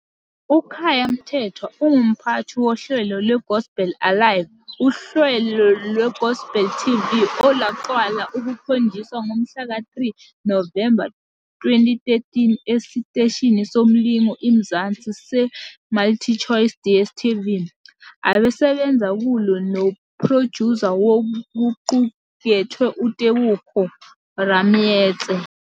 UKhaya Mthethwa ungumphathi wohlelo "lweGospel Alive" uhlelo lwe-Gospel TV olwaqala ukukhonjiswa ngomhlaka 3 Novemba 2013 esiteshini somlingo iMzansi seMultichoice DSTV, abesebenza kulo nophrojusa wokuqukethwe uTebogo Rameetse.